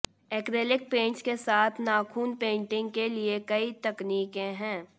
acrylic paints के साथ नाखून पेंटिंग के लिए कई तकनीकें हैं